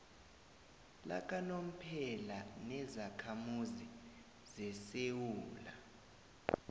lakanomphela nezakhamuzi zesewula